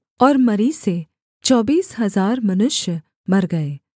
और मरी से चौबीस हजार मनुष्य मर गए